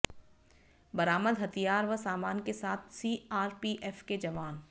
बरामद हथियार व सामान के साथ सीआरपीएफ के जवान